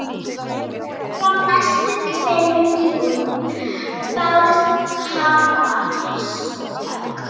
Frá næstu tveimur íbúðum bárust hamarshögg.